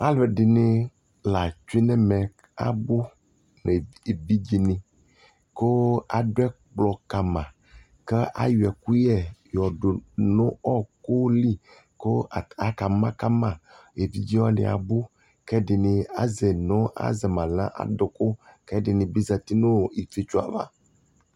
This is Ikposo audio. alʋɛdini la twɛnʋ ɛmɛ, abʋ nʋ ɛvidzɛ ni kʋ adʋ ɛkplɔ kama kʋ ayɔ ɛkʋyɛ dʋnʋ ɔkʋli kʋ aka ma kama, ɛvidzɛ waniabʋkʋɛdini azɛ ma nʋ adʋkʋ kʋ ɛdini bi zati nʋ iƒiɔtsɔɛ aɣa